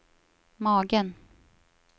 magen